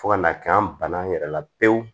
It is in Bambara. Fo ka n'a kɛ an banana an yɛrɛ la pewu